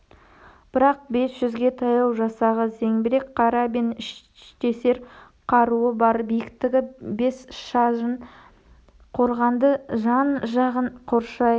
бірақ бес жүзге таяу жасағы зеңбірек карабин іштесер қаруы бар биіктігі бес сажын қорғанды жан-жағын қоршай